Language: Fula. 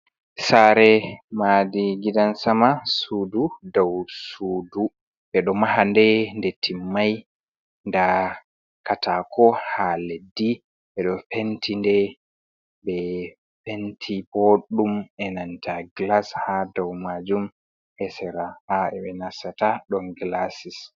Sare madi gidansama, sudu dow sudu ɓeɗo maha nde, nde timmai, nda katako ha leddi beɗo penti boɗɗum enanta gilas hadow majum esera ha ɓenasata ɗon gilasis.